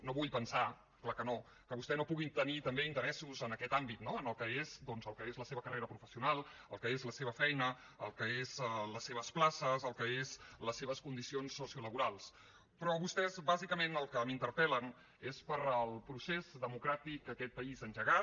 no vull pensar clar que no que vostè pugui tenir també interessos en aquest àmbit no en el que és doncs la seva carrera professional el que és la seva feina el que són les seves places el que són les seves condicions sociolaborals però vostès bàsicament sobre el que m’interpel·len és sobre el procés democràtic que aquest país ha engegat